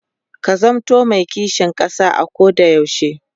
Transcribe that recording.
ka zamanto me kishin ƙasa a Koda yaushe